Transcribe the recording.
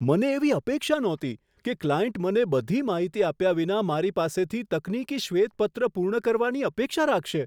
મને એવી અપેક્ષા નહોતી કે ક્લાયન્ટ મને બધી માહિતી આપ્યા વિના મારી પાસેથી તકનીકી શ્વેતપત્ર પૂર્ણ કરવાની અપેક્ષા રાખશે.